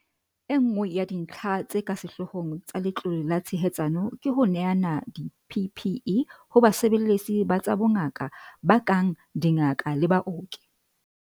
Enngwe ya dintlha tse ka sehloohong tsa Letlole la Tshehetsano ke ho neana di-PPE ho basebeletsi ba tsa bongaka ba kang dingaka le baoki.